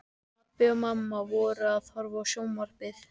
Pabbi og mamma voru að horfa á sjónvarpið.